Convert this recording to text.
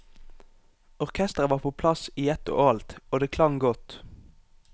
Orkestret var på plass i ett og alt, og det klang godt.